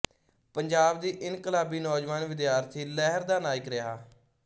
ਪੰਜਾਬ ਦੀ ਇਨਕਲਾਬੀ ਨੌਜਵਾਨ ਵਿਦਿਆਰਥੀ ਲਹਿਰ ਦਾ ਨਾਇਕ ਰਿਹਾ